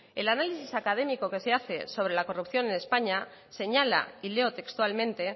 el análisis académico que se hace sobre la corrupción en españa señala y leo textualmente